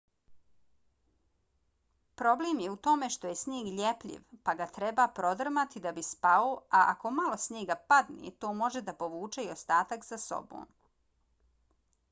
problem je u tome što je snijeg ljepljiv pa ga treba prodrmati da bi spao a ako malo snijega padne to može da povuče i ostatak za sobom